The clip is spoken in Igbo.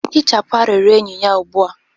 hichapụ arịrịọ enyi ya ugbu a!